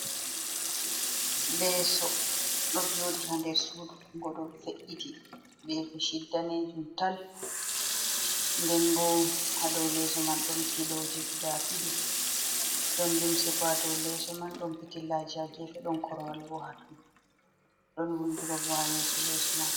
Leeso ɗo jodi ha nder sudu go ɗo fe’’iti be beshid danejum tal nden bo ha dow leso man don filoji guda didi don limse ba dow leso man don petillajia gefe don korowal bo ha tun don woldurop ha yeso leso man.